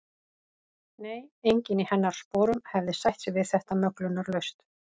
Nei, enginn í hennar sporum hefði sætt sig við þetta möglunarlaust.